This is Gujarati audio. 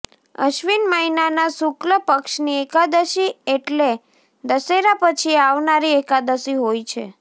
અશ્વિન મહિનાના શુક્લ પક્ષની એકાદશી એટલે દશેરા પછી આવનારી એકાદશી હોય છે